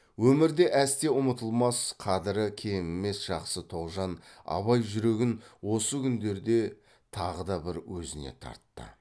өмірде әсте ұмытылмас қадірі кемімес жақсы тоғжан абай жүрегін осы күндерде тағы да бір өзіне тартты